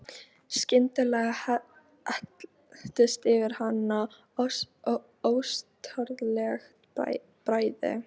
Skyndilega helltist yfir hana óstjórnleg bræði.